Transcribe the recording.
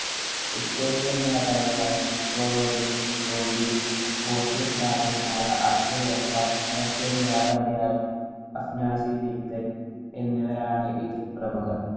Italian‍ വ്യാപാരിയായ Niccolo de Conti, Portuguese സ്ഥാപിതനായ Abdul‍ Razzaq, Russian‍ വ്യാപാരിയായ എന്നിവരാണ്‌ ഇവരില്‍ പ്രമുഖര്‍